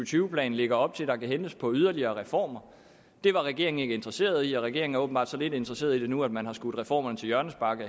tyve plan lægger op til der kan hentes på yderligere reformer det var regeringen ikke interesseret i og regeringen er åbenbart så lidt interesseret i det nu at man har skudt reformerne til hjørnespark